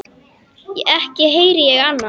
Ekki heyrði ég annað.